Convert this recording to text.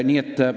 Nii et ...